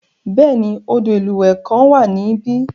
Bẹ́ẹ̀ni, odò ìlúwẹ̀ẹ́ kan wà níbẹ̀.